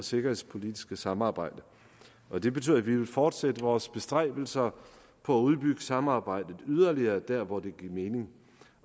sikkerhedspolitiske samarbejde og det betyder at vi vil fortsætte vores bestræbelser på at udbygge samarbejdet yderligere der hvor det giver mening